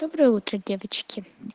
доброе утро девочки